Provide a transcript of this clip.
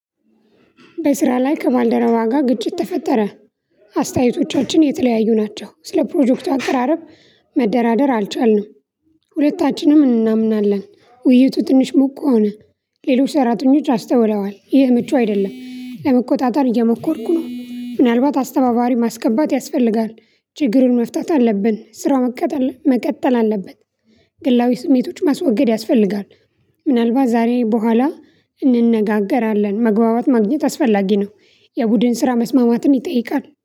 በስራ ላይ ከባልደረባ ጋር ግጭት ተፈጠረ። አስተያየቶቻችን የተለያዩ ናቸው ስለ ፕሮጀክቱ አቀራረብ መደራደር አልቻልንም። ሁለታችንም እናምናለን ውይይቱ ትንሽ ሞቅ ሆነ። ሌላው ሰራተኞች አስተውለዋል ይህ ምቹ አይደለም። ለመቆጣጠር እየሞከርኩ ነው ምናልባት አስተባባሪ ማስገባት ያስፈልጋል። ችግሩን መፍታት አለብን ስራ መቀጠል መቀጠል አለበት። ግላዊ ስሜቶች ማስወገድ ያስፈልጋል። ምናልባት ዛሬ በኋላ እንነጋገራለን መግባባት ማግኘት አስፈላጊ ነው። የቡድን ስራ መስማማትን ይጠይቃል